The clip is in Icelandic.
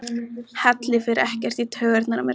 Halli fer ekkert í taugarnar á mér.